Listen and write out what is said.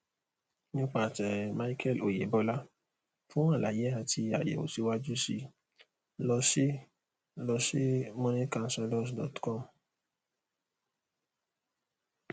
nípasẹ michael oyebola fún àlàyé àti àyèwò síwájú sí i lọ sí i lọ sí moneycounsellorscom